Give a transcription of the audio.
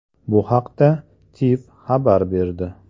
Bu haqda TIV xabar berdi.